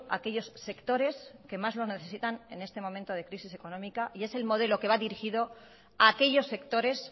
a aquellos sectores que más lo necesitan en este momento de crisis económica y es el modelo que va dirigido a aquellos sectores